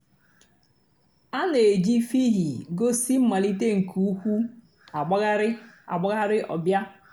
a nà-èjì fhịhị gósì mmàlítè nke ǔ́kwụ̀ àgbàghàrì àgbàghàrì ọ̀ bịa.